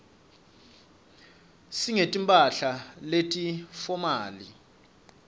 singeti mphahla leti fomali